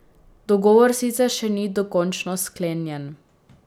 Dogovor sicer še ni dokončno sklenjen.